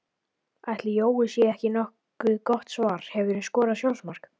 Ætli Jói sé ekki nokkuð gott svar Hefurðu skorað sjálfsmark?